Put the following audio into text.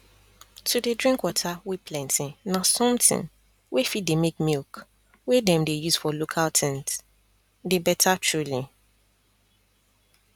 to dey drink water wey plenty na something wey fit dey make milk wey them dey use for local things dey better truly